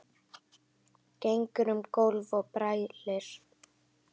Gengur um gólf og brælir.